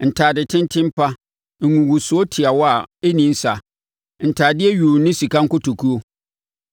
ntadetenten pa, ngugusoɔ tiawa a ɛnni nsa, ntadeɛ yuu ne sika nkotokuo;